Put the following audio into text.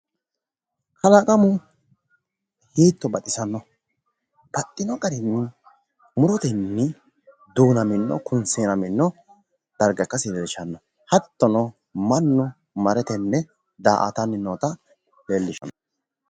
kalaqamu hiitto baxisanno, baxxino garino murotenni duunammino kunseenamino darga ikasi leellishshanno hattono, mannu mare tenne da'aatanni nootta leellishshanno.